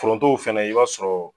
Forontow fɛnɛ, i b'a sɔrɔ